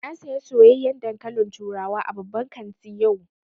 Na saya soyayyan dankalin turawa a babban kanti yau